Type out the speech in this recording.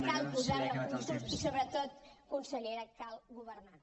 cal posar recursos i sobretot consellera cal governar